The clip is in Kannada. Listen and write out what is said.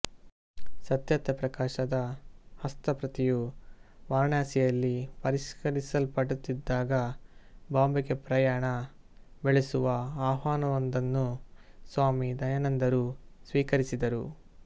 ಸತ್ಯಾರ್ಥ ಪ್ರಕಾಶದ ಹಸ್ತಪ್ರತಿಯು ವಾರಣಾಸಿಯಲ್ಲಿ ಪರಿಷ್ಕರಿಸಲ್ಪಡುತ್ತಿದ್ದಾಗ ಬಾಂಬೆಗೆ ಪ್ರಯಾಣ ಬೆಳೆಸುವ ಆಹ್ವಾನವೊಂದನ್ನು ಸ್ವಾಮಿ ದಯಾನಂದರು ಸ್ವೀಕರಿಸಿದರು